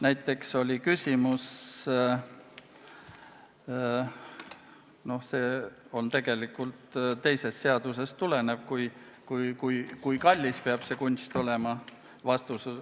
Näiteks oli küsimus selle kohta, kui kallis see kunst peab olema.